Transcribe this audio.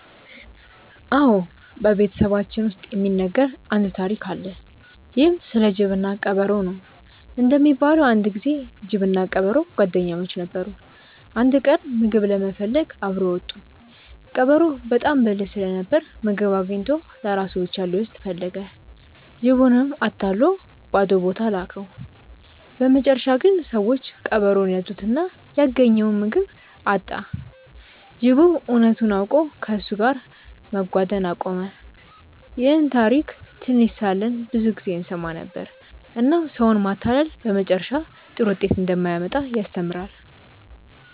አዎ፣ በቤተሰባችን ውስጥ የሚነገር አንድ ታሪክ አለ። ይህም ስለ ጅብና ቀበሮ ነው። እንደሚባለው አንድ ጊዜ ጅብና ቀበሮ ጓደኛሞች ነበሩ። አንድ ቀን ምግብ ለመፈለግ አብረው ወጡ። ቀበሮው በጣም ብልህ ስለነበር ምግብ አግኝቶ ለራሱ ብቻ ሊወስድ ፈለገ። ጅቡንም አታሎ ባዶ ቦታ ላከው። በመጨረሻ ግን ሰዎች ቀበሮውን ያዙትና ያገኘውን ምግብ አጣ። ጅቡም እውነቱን አውቆ ከእሱ ጋር መጓደን አቆመ። ይህን ታሪክ ትንሽ ሳለን ብዙ ጊዜ እንሰማ ነበር፣ እናም ሰውን ማታለል በመጨረሻ ጥሩ ውጤት እንደማያመጣ ያስተምራል።